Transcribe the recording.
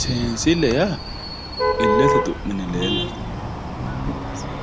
senisille yaa ilete xuminne lelatte